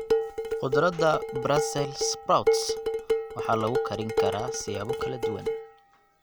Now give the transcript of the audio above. Khudradda brussels sprouts waxaa lagu karin karaa siyaabo kala duwan.